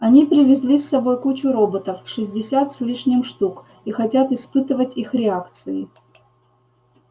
они привезли с собой кучу роботов шестьдесят с лишним штук и хотят испытывать их реакции